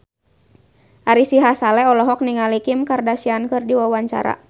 Ari Sihasale olohok ningali Kim Kardashian keur diwawancara